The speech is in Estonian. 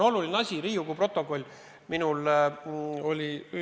Riigikogu stenogramm on oluline asi.